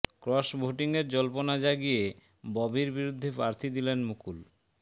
cross ভোটিংয়ের জল্পনা জাগিয়ে ববির বিরুদ্ধে প্রার্থী দিলেন মুকুল